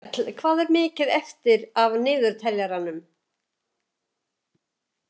Mjöll, hvað er mikið eftir af niðurteljaranum?